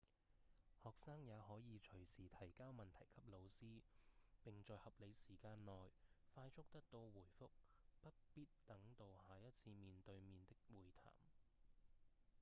學生也可以隨時提交問題給老師並在合理時間內快速得到回覆不必等到下一次面對面的會談